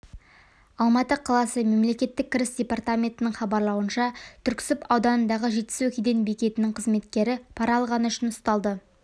алматы қаласы мемлекеттік кіріс департаментінің хабарлауынша түрксіб ауданындағы жетісу кеден бекетінің қызметкері пара алғаны үшін ұсталды